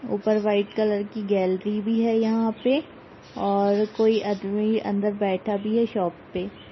ऊपर white colour की gallery भी हैयहाँ पे और कोई आदमी अंदर बैठा भी है शॉप पे।